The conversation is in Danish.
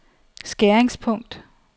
skæringspunkt